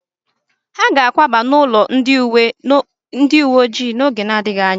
Ha ga akwaba n'ụlọ ndị uwe ojii n'oge na-adịghị anya